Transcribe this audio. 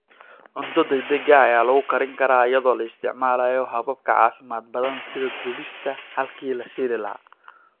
Cunto degdeg ah ayaa lagu karin karaa iyadoo la isticmaalayo habab ka caafimaad badan sida dubista halkii la shiili lahaa.